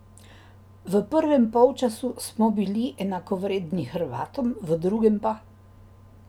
V prvem polčasu smo bili enakovredni Hrvatom, v drugem pa ...